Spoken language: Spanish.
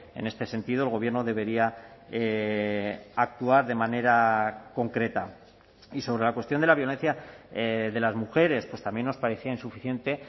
en este sentido el gobierno debería actuar de manera concreta y sobre la cuestión de la violencia de las mujeres pues también nos parecía insuficiente